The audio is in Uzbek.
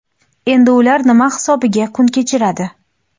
Endi ular nima hisobiga kun kechiradi?.